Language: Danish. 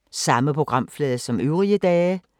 Samme programflade som øvrige dage